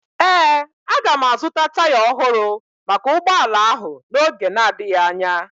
Ee, aga m azụta taya ọhụrụ maka ụgbọala ahụ n'oge na-adịghị anya